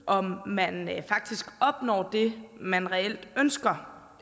om man faktisk opnår det man reelt ønsker